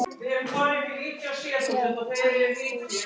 Þrjátíu þúsund!